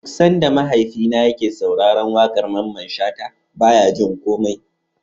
Duk Sanda mahaifina yake sauraran waƙar Mamman shata baya jin komai